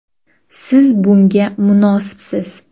Siz bunga munosibsiz!”.